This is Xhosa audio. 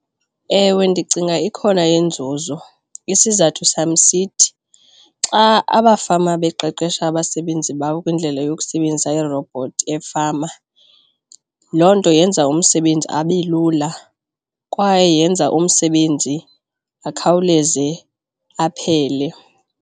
Ewe, ndicinga ikhona inzuzo, isizathu sam esithi xa abafama beqeqesha abasebenzi babo kwindlela yokusebenzisa iirobhothi efama, loo nto yenza umsebenzi abe lula kwaye yenza umsebenzi akhawuleze aphele.